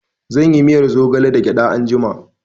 I will make moringa soup with groundnut